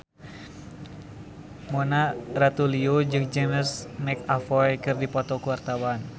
Mona Ratuliu jeung James McAvoy keur dipoto ku wartawan